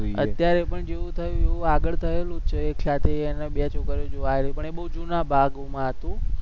અત્યારે પણ જેવું થાય એવું આગળ થયેલું જ છે એકસાથે એને બે છોકરીઓ જોવા આવી પણ એ બોવ જુના ભાગોમાં હતું.